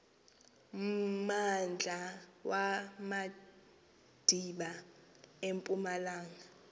mmandla wamadiba empumalanga